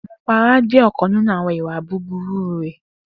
Drunkenness jẹ ọkan ninu awọn iwa buburu rẹ